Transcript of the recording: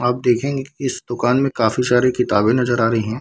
आप देखेंगी कि इस दुकान में काफी सारी क़िताबें नजर आ रही हैं ।